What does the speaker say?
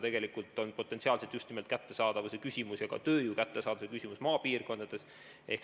Tegelikult on see potentsiaalselt just nimelt kättesaadavuse küsimus ja oluline on ka tööjõu kättesaadavuse küsimus maapiirkondades.